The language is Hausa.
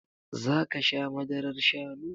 Zaka sha Madarar Shannu?